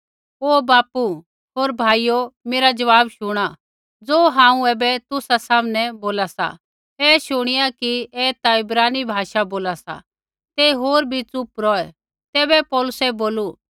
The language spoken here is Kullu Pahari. ऐ शुणिया कि ऐ ता इब्रानी भाषा बोला सा ते होर बी च़ुप रौहै तैबै पौलुसै बोलू